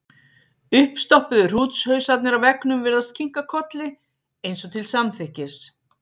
Uppstoppuðu hrútshausarnir á veggnum virðast kinka kolli, eins og til samþykkis.